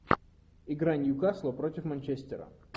игра ньюкасла против манчестера